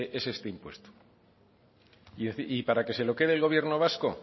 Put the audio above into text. es este impuesto y para que se lo quede el gobierno vasco